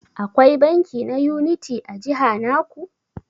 Akwai banki na Unity a jiha naku?